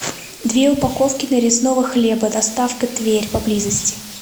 две упаковки нарезного хлеба доставка тверь поблизости